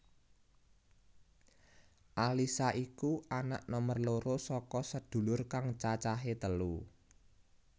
Alyssa iku anak nomer loro saka sedulur kang cacahé telu